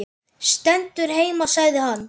Stendur heima sagði hann.